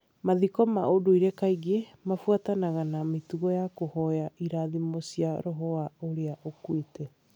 Mathiko ma ũndũire kaingĩ mabuatanaga na mĩtugo ya kũhoya irathimo cia roho wa ũrĩa ũkuĩte.